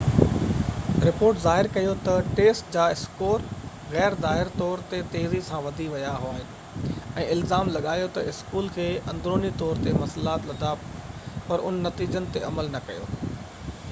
report ظاهر ڪيو تہ ٽيسٽ جا اسڪور غير ظاهر طور تي تيزي سان وڌي ويا آهن ۽ الزام لڳايو تہ اسڪول کي اندروني طور تي مسئلا لڌا پر ان نتيجن تي عمل نہ ڪيو